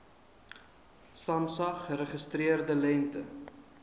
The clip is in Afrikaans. samsa geregistreerde lengte